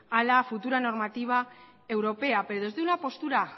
a la futura normativa europea pero desde una postura